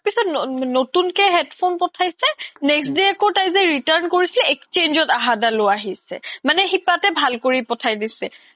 নতুন কে headphone পথাইছে next day আকৌ তাই যে return কৰিছিলে exchange ত আহা দালও আহিছে মানে সিপাতে ভাল কৰি পথাই দিছে